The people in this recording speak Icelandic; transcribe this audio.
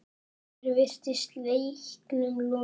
Hér virtist leiknum lokið.